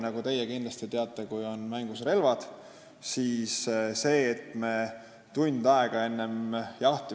Nagu teie kindlasti teate, on ohutusreeglite kordamine siis, kui relvad on mängus, pigem kõigile kasulik.